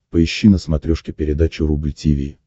поищи на смотрешке передачу рубль ти ви